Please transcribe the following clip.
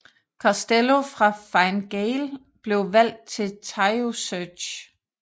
Costello fra Fine Gael blev valgt til Taoiseach